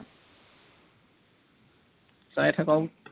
চাই থাকক